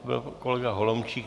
To byl kolega Holomčík.